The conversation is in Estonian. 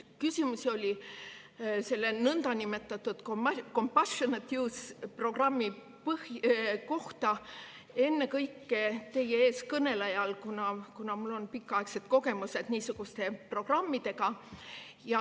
Küsimusi oli selle nõndanimetatud compassionate-use-programmi kohta, ennekõike teie ees kõnelejal, kuna mul on pikaaegsed kogemused niisuguste programmidega.